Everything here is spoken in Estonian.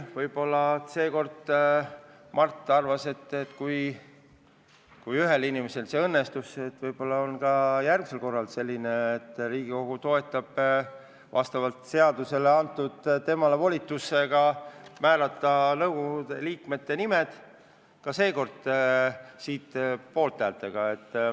Võib-olla seekord Mart arvas, et kui ühel inimesel see õnnestus, võib-olla toetab Riigikogu nüüd tedagi – vastavalt seadusele on talle antud volitus määrata nõukogu liikmed ja ehk tulevad seekordki poolthääled.